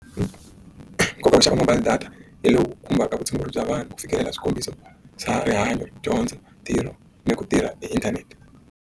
ku vuxaka mobile data hi lowu khumbaka vutshunguri bya vanhu ku fikelela swikombiso swa rihanyo dyondzo ntirho ni ku tirha hi inthanete.